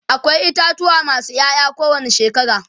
akwai itatuwa masu Yaya ko wani shekara